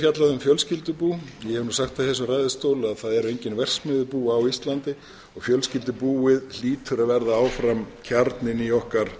fjallað um fjölskyldubú ég hef sagt það í þessum ræðustól að það eru engin verksmiðjubú á íslandi og fjölskyldubúið hlýtur að verða áfram kjarninn í okkar